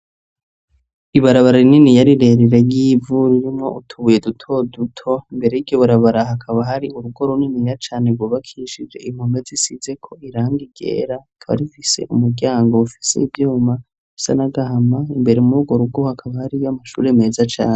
ibarabara rininiya rirerire ry'ivu ririmwo utubuye duto duto mbere yiryo barabara hakaba hari urugo runiniya cane gubakishije impome zisize ko irangi ryera rikaba rifise umuryango ufise ivyuma bisa n'agahama imbere mu rugo rugo hakaba hariyo amashure meza cane